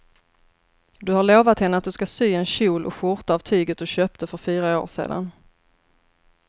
Du har lovat henne att du ska sy en kjol och skjorta av tyget du köpte för fyra år sedan.